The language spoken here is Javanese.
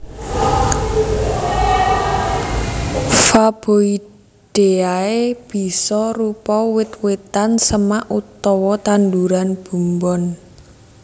Faboideae bisa rupa wit witan semak utawa tanduran bumbon